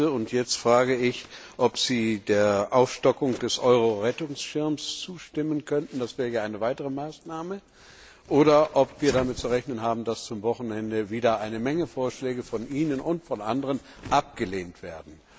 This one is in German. Und jetzt frage ich, ob Sie der Aufstockung des Euro Rettungsschirms zustimmen könnten das wäre ja eine weitere Maßnahme oder ob wir damit zu rechnen haben, dass zum Wochenende wieder eine Menge Vorschläge von Ihnen und von anderen abgelehnt wird.